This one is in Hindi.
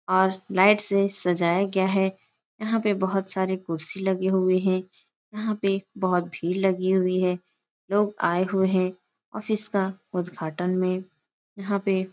और लाइट से सजाया गया है। यहाँ पे बोहोत सारी कुर्सी लगे हुए हे । यहाँ पे बोहोत भीड़ लगी हुई है। लोग आये हुए हैं । ओफिस का उद्घाटन में। यहाँ पे --